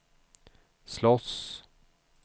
slåss